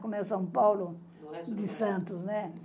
Como é São Paulo de Santos, né?